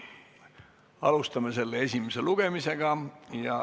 Alustame selle esimest lugemist.